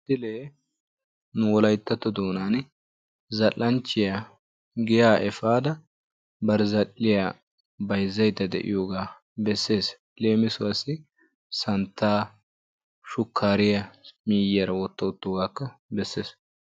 Ha misilee nu wolayttatto doonan zal"anchchiyaa giyaa epaada bari zal"iyaa bayzzayda de'iyoogaa beesses. leemissuwaassi santtaa shukkariyaa miyiyaara wotta wottoogaakka beesses.